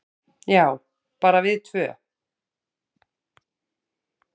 """Já, bara við tvö."""